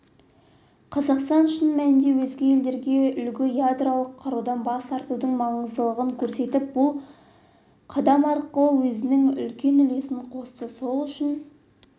қазақстан шын мәнінде өзге елдерге үлгі ядролық қарудан бас тартудың маңыздылығын көрсетті бұл қадам арқылы өзінің үлкен үлесін қосты сол үшін